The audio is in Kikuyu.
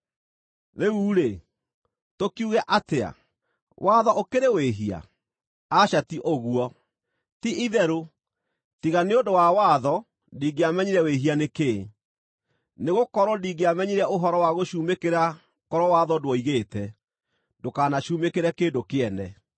Rĩu rĩ, tũkiuge atĩa? Watho ũkĩrĩ wĩhia? Aca ti ũguo! Ti-itherũ tiga nĩ ũndũ wa watho ndingĩamenyire wĩhia nĩ kĩĩ. Nĩgũkorwo ndingĩamenyire ũhoro wa gũcumĩkĩra korwo watho ndwoigĩte, “Ndũkanacumĩkĩre kĩndũ kĩene.”